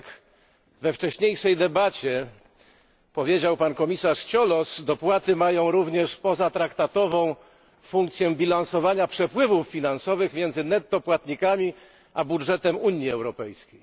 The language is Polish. Tak jak we wcześniejszej debacie powiedział pan komisarz Cioloş, dopłaty mają również pozatraktatową funkcję bilansowania przepływów finansowych między płatnikami netto a budżetem Unii Europejskiej.